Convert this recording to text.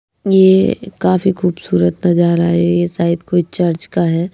ये काफी खूबसूरत नजारा है ये शायद कोई चर्च का है।